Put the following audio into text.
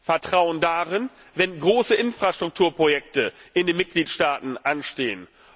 Vertrauen dann, wenn große Infrastrukturprojekte in den Mitgliedstaaten anstehen.